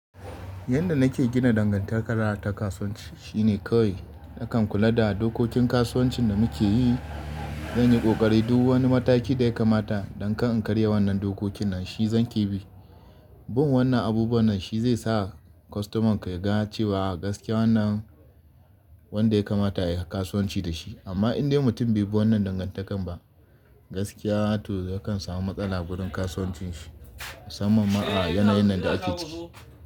Yadda nake gina dangantaka ta kasuwanci shine kawai nakan kula da dokokin kasuwancin da muke yi. Zanyi kokari duk wani mataki da ya kamata don kar in karya wannan dokokin nan shi zan ki bi. Bin wannan abubuwan nan shi zai sa kwastoman ka ya ga cewa gaskiya wannan wanda ya kamata ayi kasuwanci da shi. Amma in dai mutum bai bi wannan dangantakar ba gaskiya to yakan samu matsala gurin kasuwancin shi. Musamman ma a yanayin da ake ciki.